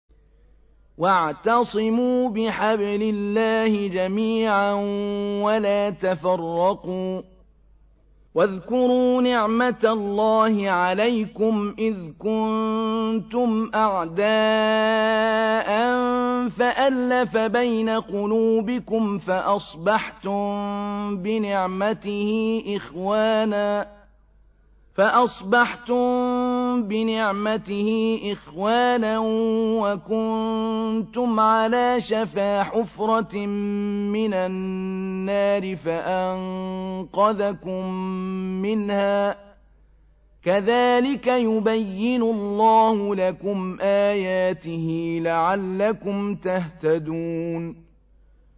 وَاعْتَصِمُوا بِحَبْلِ اللَّهِ جَمِيعًا وَلَا تَفَرَّقُوا ۚ وَاذْكُرُوا نِعْمَتَ اللَّهِ عَلَيْكُمْ إِذْ كُنتُمْ أَعْدَاءً فَأَلَّفَ بَيْنَ قُلُوبِكُمْ فَأَصْبَحْتُم بِنِعْمَتِهِ إِخْوَانًا وَكُنتُمْ عَلَىٰ شَفَا حُفْرَةٍ مِّنَ النَّارِ فَأَنقَذَكُم مِّنْهَا ۗ كَذَٰلِكَ يُبَيِّنُ اللَّهُ لَكُمْ آيَاتِهِ لَعَلَّكُمْ تَهْتَدُونَ